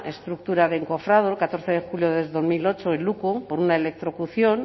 estructura de encofrado el catorce de julio de dos mil ocho en luku por una electrocución